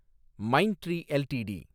Mindtree LTD